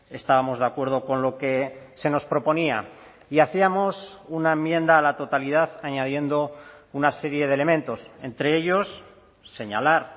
estábamos de acuerdo con lo que se nos proponía y hacíamos una enmienda a la totalidad añadiendo una serie de elementos entre ellos señalar